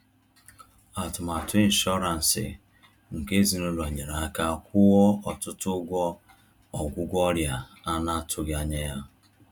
Atụmatụ inshọransị nke ezinụlọ nyere aka kwụọ ọtụtụ ụgwọ ọgwụgwọ ọrịa a na-atụghị anya ya.